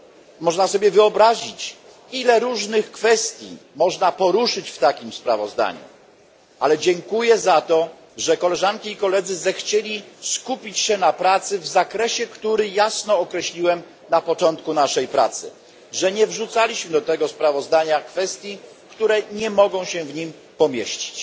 Nietrudno sobie wyobrazić, ile różnych kwestii można by było poruszyć w takim sprawozdaniu, ale dziękuję za to, że koleżanki i koledzy zechcieli skupić się na pracy w zakresie, który jasno określiłem na początku, że nie wrzucaliśmy do tego sprawozdania kwestii, które nie mogą się w nim pomieścić.